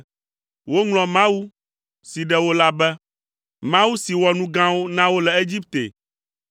Woŋlɔ Mawu si ɖe wo la be, Mawu si wɔ nu gãwo na wo le Egipte